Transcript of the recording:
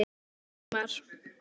Það voru nýir tímar.